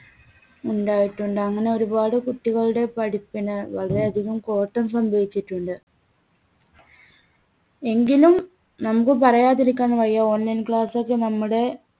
ഉണ്ടായിട്ടുണ്ട്. അങ്ങനെ ഒരുപാട് കുട്ടികളുടെ പഠിപ്പിന് വളരെയധികം കോട്ടം സംഭിവിച്ചിട്ടുണ്ട്. എങ്കിലും നമുക്ക് പറയാതിരിക്കാൻ വയ്യ online class ഒക്കെ നമ്മുടെ